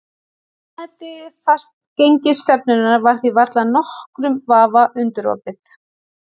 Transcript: Réttmæti fastgengisstefnunnar var því varla nokkrum vafa undirorpið.